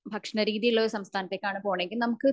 ഭക്ഷണ രീതിയുള്ള സംസ്ഥാനത്തേക്കാണ് പോണേന്നുണ്ടെങ്കിൽ നമുക്ക്